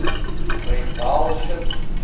great vowel shift